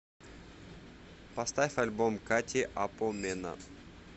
поставь альбом кати апо мена